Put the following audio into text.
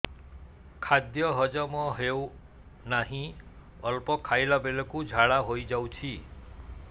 ଖାଦ୍ୟ ହଜମ ହେଉ ନାହିଁ ଅଳ୍ପ ଖାଇଲା ବେଳକୁ ଝାଡ଼ା ହୋଇଯାଉଛି